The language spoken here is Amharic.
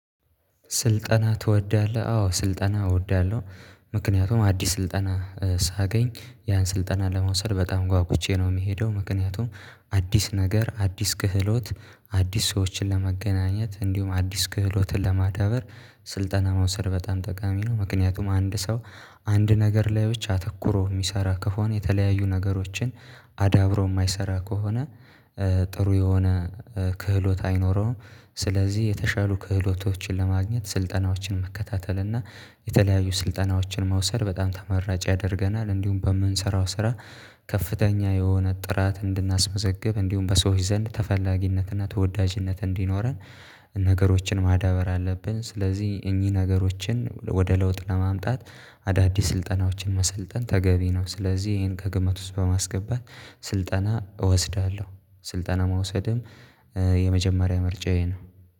ስልጠና ትወዳለህ አዎ ስልጠና እወዳለሁ። ምክንያቱም አዲስ ስልጠና ሳገኝ ያን ስልጠና ለመውሰድ በጣም ጓጉቼ ነው የሚሄደው ምክንያቱም አዲስ ነገር አዲስ ክህሎት አዲስ ሰዎችን ለመገናኘት እንዲሁም አዲስ ክህሎትን ለማዳበር። ስልጠና መውሰድ በጣም ጠቃሚ ነው ምክንያቱም አንድ ሰው አንድ ነገር ላይ ብቻ አተኩሮ የሚሰራ ከሆነ የተለያዩ ነገሮችን አዳብሮ የማይሰራ ከሆነ። ጥሩ የሆነ ክህሎት አይኖረውም። ስለዚህ የተሻሉ ክህሎቶችን ለማግኘት ስልጠናዎችን መከታተል እና የተለያዩ ስልጠናዎችን መውሰድ በጣም ተመራጭ ያደርገናል። እንዲሁም በምንሰራው ስራ ከፍተኛ የሆነ ጥራት እንድናስመዘግብ እንዲሁም በሰዎች ዘንድ ተፈላጊነትና ተወዳጅነት እንዲኖረን ነገሮችን ማዳበር አለብን። ስለዚህ እኚህ ነገሮችን ወደ ለውጥ ለማምጣት አዳዲስ ስልጠናዎችን መሰልጠን ተገቢ ነው። ስለዚህ ይሄን ከግምት ውስጥ በማስገባት ስልጠና እወስዳለሁ። ስልጠና መውሰድም የመጀመሪያ ምርጫዬ ነው።